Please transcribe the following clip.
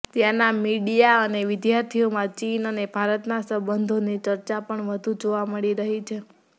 ત્યાંના મીડીયા અને વિદ્યાર્થીઓમાં ચીન અને ભારતના સંબંધોની ચર્ચા પણ વધુ જોવા મળી રહી છે